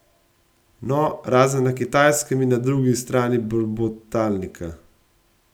No, razen na Kitajskem in na drugi strani brbotalnika.